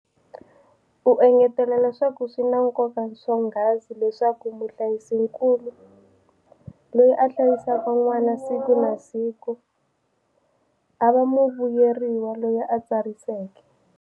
U engetela leswaku swi na nkoka swonghasi leswaku muhlayisinkulu, loyi a hlayisaka n'wana siku na siku, a va muvuyeriwa loyi a tsariseke.